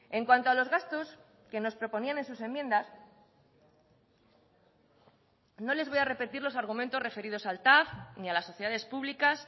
en cuanto a los gastos que nos proponían en sus enmiendas no les voy a repetir los argumentos referidos al tav ni a las sociedades públicas